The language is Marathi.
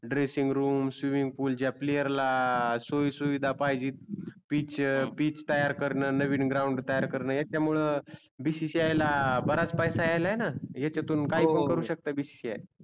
dressing room swimming pool च्या player सुईसुविधा पहिजे speech तयार करण नवीन ground तयार करण याच्या मूळे bcci ला बराच पैसायल्यान याच्यातून हो हो काही पण करू शकतो. bcci